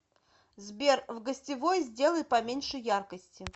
сбер в гостевой сделай поменьше яркости